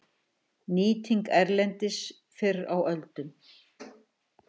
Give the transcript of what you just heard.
Nýting erlendis fyrr á öldum